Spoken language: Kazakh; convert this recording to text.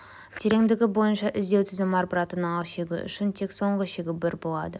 тереңдігі бойынша іздеу тізім әрбір ата-аналық шегі үшін тек соңғы шегі бар болады